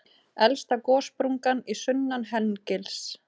Elsta gossprungan er sunnan Hengils.